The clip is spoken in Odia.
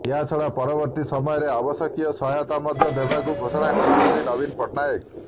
ଏହାଛଡା ପରବର୍ତ୍ତୀ ସମୟରେ ଆବଶ୍ୟକୀୟ ସହାୟତା ମଧ୍ୟ ଦେବାକୁ ଘୋଷଣା କରିଛନ୍ତି ନବୀନ ପଟ୍ଟନାୟକ